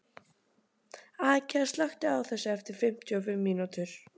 Askja, slökktu á þessu eftir fimmtíu og fimm mínútur.